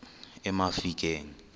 emafikeng